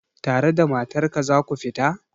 Tare da matar ka za ku fita?